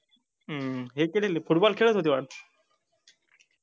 हे football खेळात होते वाटत